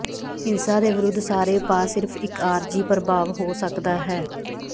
ਹਿੰਸਾ ਦੇ ਵਿਰੁੱਧ ਸਾਰੇ ਉਪਾਅ ਸਿਰਫ ਇੱਕ ਆਰਜ਼ੀ ਪਰਭਾਵ ਹੋ ਸਕਦਾ ਹੈ